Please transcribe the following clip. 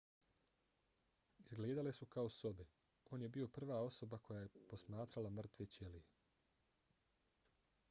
izgledale su kao sobe. on je bio prva osoba koja je posmatrala mrtve ćelije